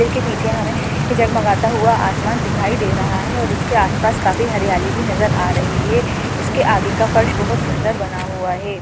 मंदिर के पीछे हमें एक जगमगाता हुआ आसमान दिखाई दे रहा है और इसके आसपास काफी हरियाली भी नजर आ रही है इसके आगे का फर्श बहुत सुंदर बना हुआ है।